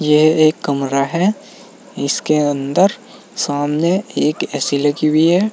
यह एक कमरा है इसके अंदर सामने एक ए_सी लगी हुई है।